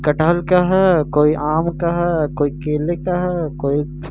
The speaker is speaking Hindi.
कटहल का है कोई आम का है कोई केले का है कोई--